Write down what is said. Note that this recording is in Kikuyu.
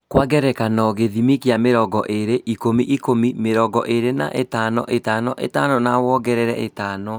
Kwa ngerekano gĩthimi kĩa mĩrongo ĩrĩ - ikũmi - ikũmi, mĩringo ĩri na ithano -ithano- ithano na wongerere ithano